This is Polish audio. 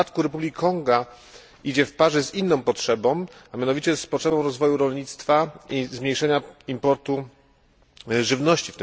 W przypadku Republiki Konga idzie to w parze z inną potrzebą, a mianowicie z potrzebą rozwoju rolnictwa i zmniejszenia importu żywności.